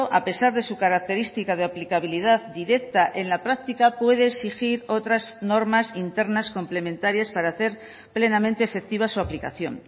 a pesar de su característica de aplicabilidad directa en la práctica puede exigir otras normas internas complementarias para hacer plenamente efectiva su aplicación